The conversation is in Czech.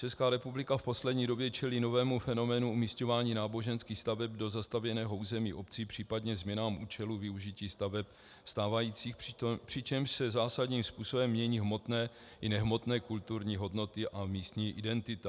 Česká republika v poslední době čelí novému fenoménu umisťování náboženských staveb do zastavěného území obcí, případně změnám účelu využití staveb stávajících, přičemž se zásadním způsobem mění hmotné i nehmotné kulturní hodnoty a místní identita.